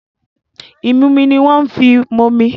Ìmumi ni wọ́n ń fi momi.